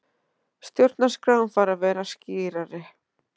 Stjórnarskráin þarf að vera skýrari